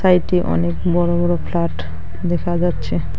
এটি অনেক বড় বড় ফ্লাট দেখা যাচ্ছে।